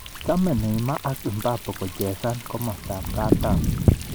Chame Neymar ak Mbappe kochesane komasatab katam